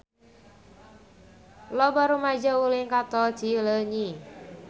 Loba rumaja ulin ka Tol Cileunyi